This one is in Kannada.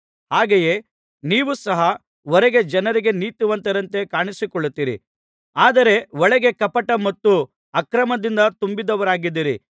ಹಾಗೆಯೇ ನೀವು ಸಹ ಹೊರಗೆ ಜನರಿಗೆ ನೀತಿವಂತರಂತೆ ಕಾಣಿಸಿಕೊಳ್ಳುತ್ತೀರಿ ಆದರೆ ಒಳಗೆ ಕಪಟ ಮತ್ತು ಅಕ್ರಮದಿಂದ ತುಂಬಿದವರಾಗಿದ್ದೀರಿ